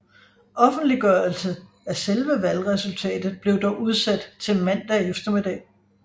Offentliggørelse af selve valgresultatet blev dog udsat til mandag eftermiddag